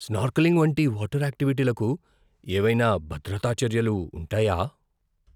Snorkelling వంటి water యాక్టివిటీలకు ఏవైనా భద్రతా చర్యలు ఉంటాయా?